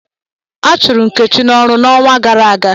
A chụrụ Nkechi n'ọrụ n'ọnwa gara aga.